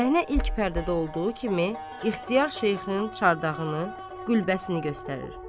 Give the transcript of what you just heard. Səhnə ilk pərdədə olduğu kimi ixtiyar şeyxinin çardağını, qülbəsini göstərir.